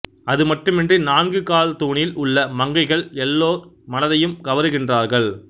அது மட்டுமின்றி நான்கு கால் தூணில் உள்ள மங்கைகள் எல்லோர் மனதையும் கவருகின்றார்கள்